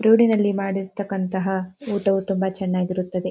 ರೋಡಿನಲ್ಲಿ ಮಾಡಿರ್ತಕ್ಕಂಥಹ ಊಟವು ತುಂಬ ಚೆನ್ನಾಗಿರುತ್ತದೆ.